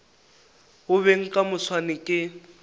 go beng ka moswane ke